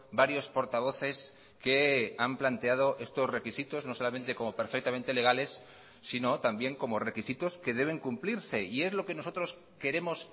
varios portavoces que han planteado estos requisitos no solamente como perfectamente legales sino también como requisitos que deben cumplirse y es lo que nosotros queremos